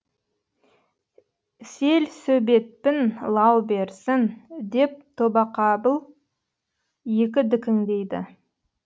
селсөбетпін лау берсін деп тобақабыл екі дікіңдейді